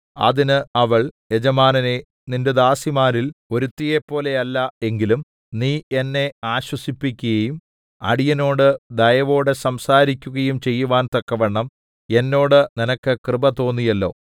അതിന് അവൾ യജമാനനേ നിന്റെ ദാസിമാരിൽ ഒരുത്തിയെപ്പോലെയല്ല എങ്കിലും നീ എന്നെ ആശ്വസിപ്പിക്കുകയും അടിയനോടു ദയവോടെ സംസാരിക്കുകയും ചെയ്യുവാൻ തക്കവണ്ണം എന്നോട് നിനക്ക് കൃപ തോന്നിയല്ലോ